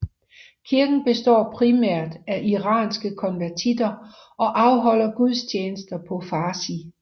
Kirken består primært af iranske konvertitter og afholder gudstjenester på farsi